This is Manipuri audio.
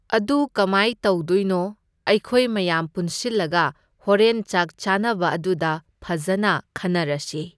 ꯑꯗꯨ ꯀꯃꯥꯏ ꯇꯧꯗꯣꯏꯅꯣ? ꯑꯩꯈꯣꯏ ꯃꯌꯥꯝ ꯄꯨꯟꯁꯤꯜꯂꯒ ꯍꯣꯔꯦꯟ ꯆꯥꯛ ꯆꯥꯟꯅꯕ ꯑꯗꯨꯗ ꯐꯖꯅ ꯈꯟꯅꯔꯁꯤ꯫